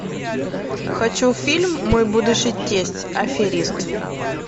хочу фильм мой будущий тесть аферист